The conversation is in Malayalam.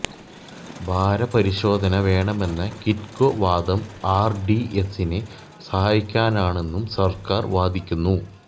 ഭാര പരിശോധന വേണമെന്ന കിറ്റ്കോ വാദം ആർ ഡി എസിനെ സഹായിക്കാനാണെന്നും സർക്കാർ വാദിക്കുന്നു